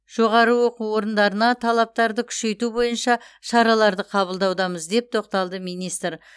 жоғары оқу орындарына талаптарды күшейту бойынша шараларды қабылдаудамыз деп тоқталды министр